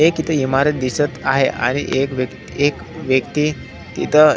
एक इथ इमारत दिसत आहे आणि एक व्यक्त एक व्यक्ति तिथ--